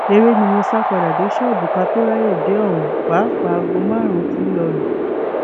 eré ni mo sá padà dé ṣọọbù ká tóó ráàyè dé ohun pàápàá aago márùnún tí ń lọọ lù